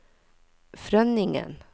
Frønningen